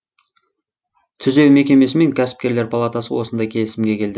түзеу мекемесі мен кәсіпкерлер палатасы осындай келісімге келді